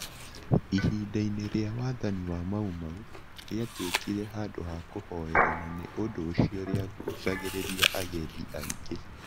Ihinda-inĩ rĩa wathani wa Mau Mau, rĩatuĩkire handũ ha kũhoera na nĩ ũndũ ũcio rĩagucagĩrĩria agendi aingĩ.